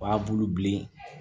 O b'a bulu bilen